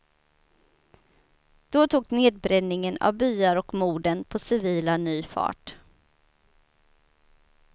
Då tog nedbränningen av byar och morden på civila ny fart.